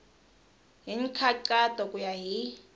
hi nkhaqato ku ya hi